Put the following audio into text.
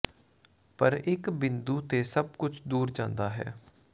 ਪਰ ਇੱਕ ਬਿੰਦੂ ਤੇ ਸਭ ਕੁਝ ਦੂਰ ਜਾਂਦਾ ਹੈ